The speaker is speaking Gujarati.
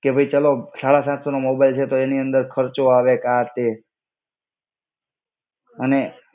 કે ભઈ ચલો સાળા સાત સોનો મોબાઈલ છે તો એની અંદર ખર્ચો આવે કા આ તે. અને